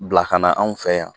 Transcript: Bila kana anw fɛ yan